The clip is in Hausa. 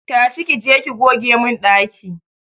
Tashi!ki je ki goge mun daki!